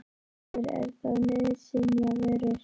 Þórhildur: Er þetta nauðsynjavörur?